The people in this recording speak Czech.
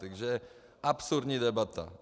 Takže absurdní debata!